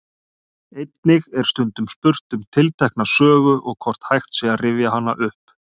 Einnig er stundum spurt um tiltekna sögu og hvort hægt sé að rifja hana upp.